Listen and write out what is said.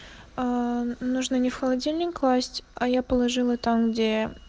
э нужно не в холодильник класть а я положила там где